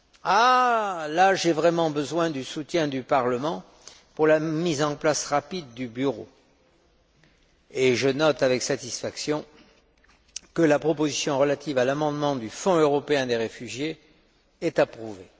En l'espèce, j'ai vraiment besoin du soutien du Parlement pour la mise en place rapide du bureau et je note avec satisfaction que la proposition relative à l'amendement relatif au Fonds européen des réfugiés est approuvée.